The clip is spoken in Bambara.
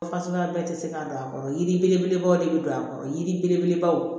Fasuguya bɛɛ tɛ se ka don a kɔrɔ yiri belebelebaw de bɛ don a kɔrɔ yiri belebelebaw